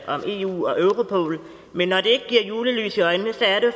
om eu og europol men når det ikke giver julelys i øjnene